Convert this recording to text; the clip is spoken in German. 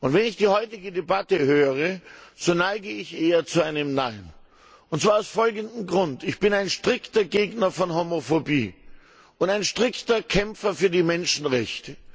Wenn ich die heutige Debatte höre, so neige ich eher zu einem Nein, und zwar aus folgendem Grund Ich bin ein strikter Gegner von Homophobie und ein strikter Kämpfer für die Menschenrechte.